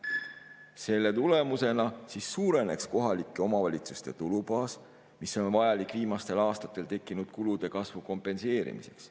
Selle tulemusena suureneks kohalike omavalitsuste tulubaas, mis on vajalik viimastel aastatel tekkinud kulude kasvu kompenseerimiseks.